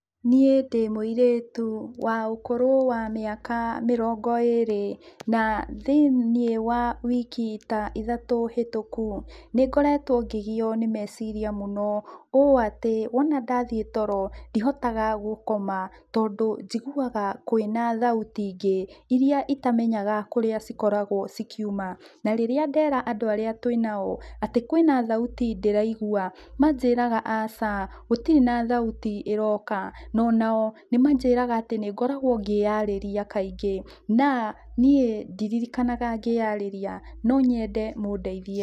Niĩ ndĩ mũirĩtu wa ũkũrũ wa mĩaka mĩrongo ĩrĩ, na thĩiniĩ wa wiki ta ithatũ hĩtũku, nĩngoretwo ngĩgiywo nĩ meciria mũno, ũũ atĩ, wona ndathiĩ toro, ndihotaga gũkoma, tondũ njiguaga kwĩna thauti-ingĩ, iria itamenyaga kũrĩa cikoragwo cikiuma, na rĩrĩa ndera andũ arĩa twĩnao atĩ kwĩna thauti ndĩraigua, manjĩraga aca, gũtirĩ thauti ĩroka, na onao nĩmanjĩraga atĩ nĩngoragwo ngĩyarĩria kaingĩ, na niĩ ndiririkanaga ngĩyarĩria. No nyende mũndeithie.